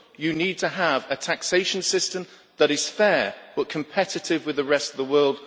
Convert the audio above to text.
You need to have a taxation system that is fair but competitive with the rest of the world.